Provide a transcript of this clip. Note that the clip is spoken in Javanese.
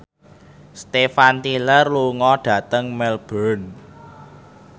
Steven Tyler lunga dhateng Melbourne